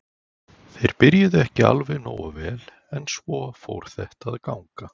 Þeir byrjuðu ekki alveg nógu vel en svo fór þetta að ganga.